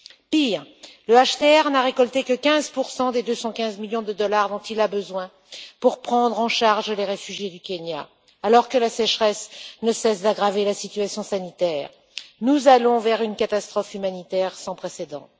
Pire, le HCR n'a récolté que 15 des 215 millions de dollars dont il a besoin pour prendre en charge les réfugiés du Kenya, alors que la sécheresse ne cesse d'aggraver la situation sanitaire. Nous allons vers une catastrophe humanitaire sans précédent.